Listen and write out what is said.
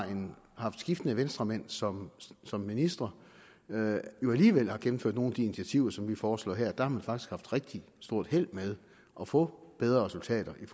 haft skiftende venstremænd som som minister alligevel har gennemført nogle af de initiativer som vi foreslår her der har faktisk haft rigtig stort held med at få bedre resultater med